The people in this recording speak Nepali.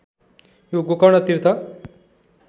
यो गोकर्ण तीर्थ